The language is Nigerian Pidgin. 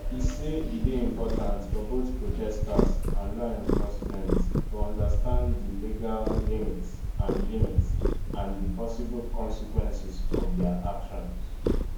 e say e dey important for both protesters and law enforcement to understand di legal limits and limits and di possible consequences of dia actions